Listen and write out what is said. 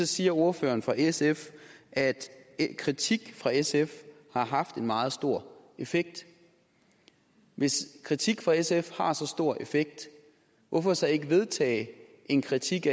siger ordføreren for sf at kritik fra sf har haft en meget stor effekt hvis kritik fra sf har så stor effekt hvorfor så ikke vedtage en kritik